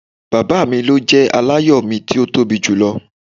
Baba mi lo jẹ alayọ mi ti o tobi julọ.